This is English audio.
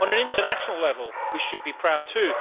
On an international level, we should be proud too.